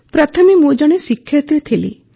ପ୍ରଥମେ ମୁଁ ଜଣେ ଶିକ୍ଷୟିତ୍ରୀ ଥିଲି